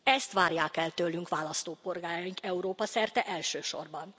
Ezt várják el tőlünk választópolgáraink, Európa szerte elsősorban.